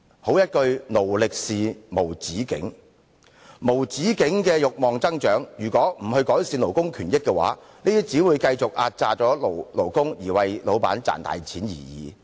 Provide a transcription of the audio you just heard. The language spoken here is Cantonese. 好一句"勞力是無止境"，面對無止境的慾望增長，如果不改善勞工權益，便只會繼續壓榨勞工，為老闆賺大錢而已。